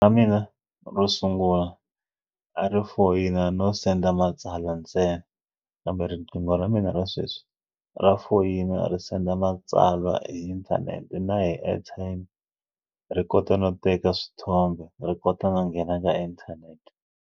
Ra mina ro sungula a ri foyina no senda matsalwa ntsena kambe riqingho ra mina ra sweswi ra foyina ri senda matsalwa hi inthanete na hi airtime ri kota no teka swithombe ri kota no nghena ka inthanete.